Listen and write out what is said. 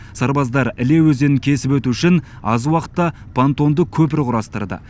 сарбаздар іле өзенін кесіп өту үшін аз уақытта понтонды көпір құрастырды